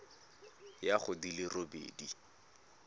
ya go di le robedi